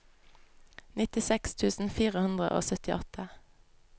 nittiseks tusen fire hundre og syttiåtte